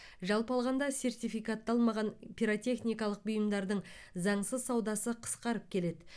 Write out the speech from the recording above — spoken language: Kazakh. жалпы алғанда сертификатталмаған пиротехникалық бұйымдардың заңсыз саудасы қысқарып келеді